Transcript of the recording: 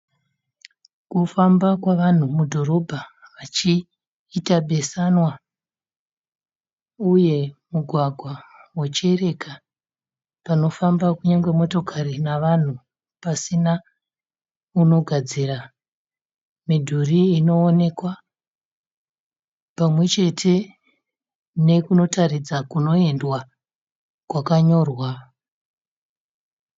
Kufamba kwevanhu mudorobha vachiita beesanwa ,uye mugwagwa wochereka panofamba kunyangwe motokari nevanhu pasina unogadzira .Midhuri inoonekwa pamwechete nekunotaridza kunoendwa kwakanyorwa